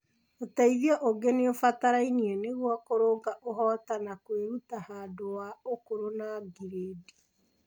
Uteithio ũngĩ nĩũbataraine nĩguo kũrũnga ũhota na kwĩruta handũ wa ũkũrũ na ngirĩndi.